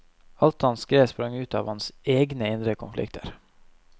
Alt han skrev sprang ut av hans egne indre konflikter.